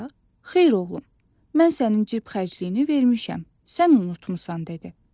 Xeyr, oğlum. Mən sənin cib xərcliyini vermişəm, sən unutmursan dedi.